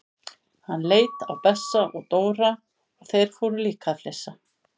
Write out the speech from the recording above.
Hann leit á Bessa og Dóra og þeir fóru líka að flissa.